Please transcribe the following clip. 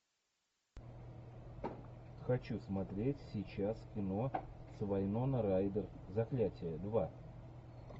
хочу смотреть сейчас кино с вайноной райдер заклятие два